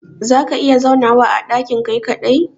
za ka iya zaunawa a dakin Kai kadai?